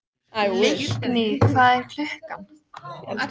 Leikný, hvað er klukkan?